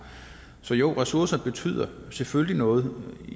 så jo ressourcer betyder selvfølgelig også noget